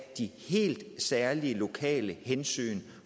de helt særlige lokale hensyn